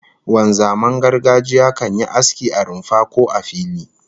Wanzaman gargajiya kan yi aski a rumfa, ko a fili